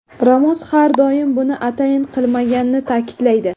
Ramos har doim buni atayin qilmaganini ta’kidlaydi.